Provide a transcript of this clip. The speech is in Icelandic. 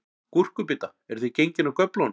Gúrkubita, eruð þið gengin af göflunum?